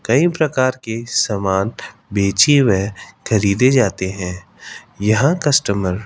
कई प्रकार के समान बेची व खरीदे जाते हैं यहां कस्टमर --